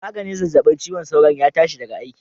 Maganin zazzabin ciwon sauron ya tashi daga aiki